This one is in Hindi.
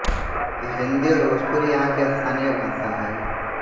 हिंदी और भोजपुरी यहां की स्थानीय भाषा है